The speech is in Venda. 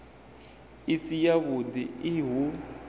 i si yavhud i hu